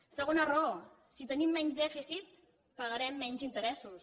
segona raó si tenim menys dèficit pagarem menys interessos